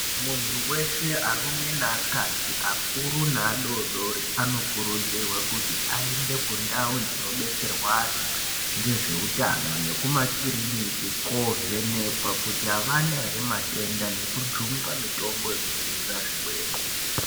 Muntu weshe, arume neakadzi akuru naadodori anokurudzirwa kuti aende kundau dzinobetserwa antu ngezveutano nekumakiriniki kovhenekwa kuti havana ere, matenda nekujungwa mitombo yekudzivirira zvirwere.